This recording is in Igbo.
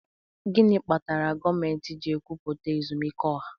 Gịnị kpatara gọọmentị ji ekwupụta ezumike ọha?